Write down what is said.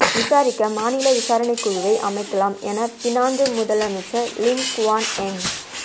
விசாரிக்க மாநில விசாரணைக்குழுவை அமைக்கலாம் என பினாங்கு முதலமைச்சர் லிம் குவான் எங்